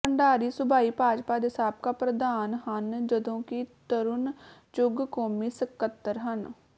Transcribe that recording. ਭੰਡਾਰੀ ਸੂਬਾਈ ਭਾਜਪਾ ਦੇ ਸਾਬਕਾ ਪ੍ਰਧਾਨ ਹਨ ਜਦੋਂਕਿ ਤਰੁਣ ਚੁੱਗ ਕੌਮੀ ਸੱਕਤਰ ਹਨ